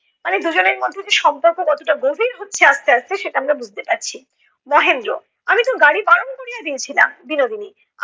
মানে দুজনের মধ্যে যে সম্পর্ক কতটা গভীর হচ্ছে আস্তে আস্তে সেটা আমরা বুজতে পারছি। মহেন্দ্র- আমি তো গাড়ি বারণ করিয়া দিয়েছিলাম। বিনোদিনী-